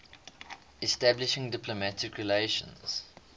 establishing diplomatic relations